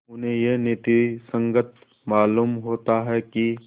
उन्हें यह नीति संगत मालूम होता है कि